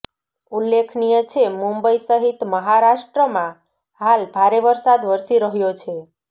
ઉલ્લેખનીય છે મુંબઇ સહિત મહારાષ્ટ્રમાં હાલ ભારે વરસાદ વરસી રહ્યો છે